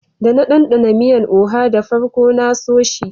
Da na danɗana miyan " oha" da farko na so shi.